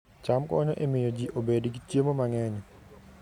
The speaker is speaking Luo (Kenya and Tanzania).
cham konyo e miyo ji obed gi chiemo mang'eny